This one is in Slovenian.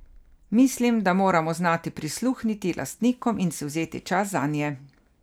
Mislim, da moramo znati prisluhniti lastnikom in si vzeti čas zanje.